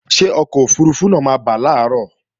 Ṣé ọkọ̀ òfurufú náà máa bà làárọ̀